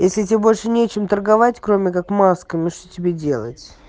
если тебе больше нечем торговать кроме как масками ну что тебе делать